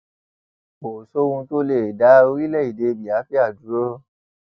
kò sóhun tó lè dá orílẹèdè biafra dúró